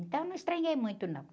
Então, não estranhei muito, não.